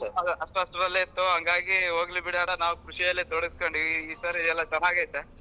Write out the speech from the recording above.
ಹತತ್ರಲೆ ಇತ್ತು ಹಂಗಾಗಿ ಹೋಗ್ಲಿ ಬಿಡಿ ಅಣ್ಣಾ ನಾವ ಖುಷಿಯಲ್ಲಿ ಈಸಲ ಎಲ್ಲಾ ಚನಾಗೈತೆ.